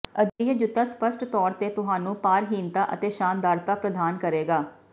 ਅਜਿਹੇ ਜੁੱਤਾ ਸਪੱਸ਼ਟ ਤੌਰ ਤੇ ਤੁਹਾਨੂੰ ਭਾਰਹੀਣਤਾ ਅਤੇ ਸ਼ਾਨਦਾਰਤਾ ਪ੍ਰਦਾਨ ਕਰੇਗਾ